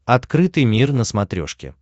открытый мир на смотрешке